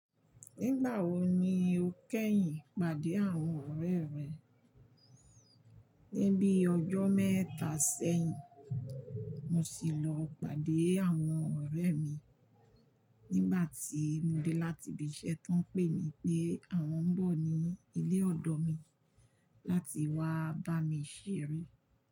Nígbà wo ni o kẹ́yìn pàdé àwọn ọ̀rẹ́ rẹ? Ní bíi ọjọ́ mẹ́ta sẹ́yìn, mo sì lọ pàdé àwọn ọ̀rẹ́ mi. Nígbà tí mo dé láti ibi iṣẹ́ tán, pé mi pé àwọn ń bọ̀ ní ilé ọ̀dọ̀ mi láti wá bá mi ṣeré.